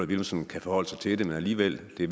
villumsen kan forholde sig til det men alligevel vil